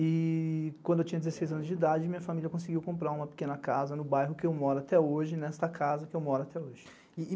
E quando eu tinha dezesseis anos de idade, minha família conseguiu comprar uma pequena casa no bairro que eu moro até hoje, nesta casa que eu moro até hoje.